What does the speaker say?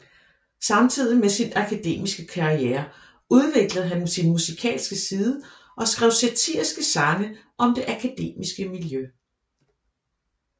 Samtidig med sin akademiske karriere udviklede han sin musikalske side og skrev satiriske sange om det akademiske miljø